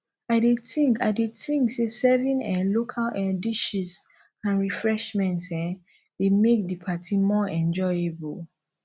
i dey think i dey think say serving um local um dishes and refreshments um dey make di party more enjoyable